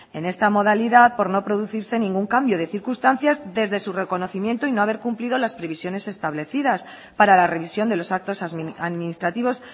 en esta modalidad por no producirse ningún cambio de circunstancias desde su reconocimiento y no haber cumplido las previsiones establecidas para la revisión de los actos administrativos